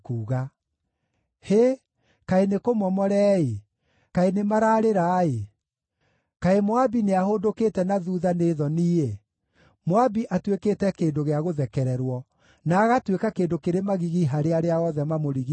“Hĩ! Kaĩ nĩkũmomore-ĩ! Kaĩ nĩmararĩra-ĩ! Kaĩ Moabi nĩahũndũkĩte na thuutha nĩ thoni-ĩ! Moabi atuĩkĩte kĩndũ gĩa gũthekererwo, na agatuĩka kĩndũ kĩrĩ magigi harĩ arĩa othe mamũrigiicĩirie.”